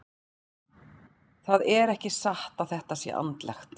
Það er ekki satt að þetta sé andlegt.